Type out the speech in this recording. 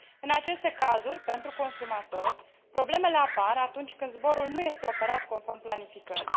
În aceste cazuri, pentru consumatori, problemele apar atunci când zborul nu este operat conform planificării.